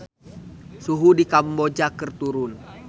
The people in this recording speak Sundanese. Suhu di Kamboja keur turun